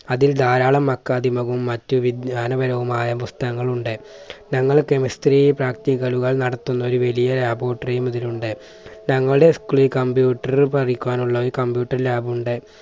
അതിൽ ധാരാളം മഖാദിമവും മറ്റു വിജ്ഞാനപരവുമായ പുസ്തകങ്ങൾ ഉണ്ട്. ഞങ്ങൾ കെമിസ്ട്രി practical കൾ നടത്തുന്ന ഒരു വലിയ laboratary യും ഇതിലുണ്ട്. തങ്ങളുടെ school ൽ computer പഠിക്കുവാനുള്ള ഒരു computerlab ഉണ്ട്.